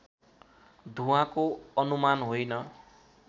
धुवाँको अनुमान होइन